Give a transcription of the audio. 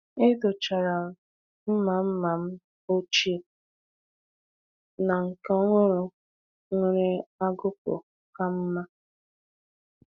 E dochara mma mma m ochie na nke ọhụrụ nwere agụkpụ ka mma.